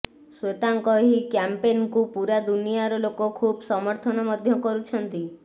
ଶ୍ବେତାଙ୍କ ଏହି କ୍ୟାମ୍ପେନକୁ ପୂରା ଦୁନିଆର ଲୋକ ଖୁବ ସମର୍ଥନ ମଧ୍ୟ କରୁଛନ୍ତି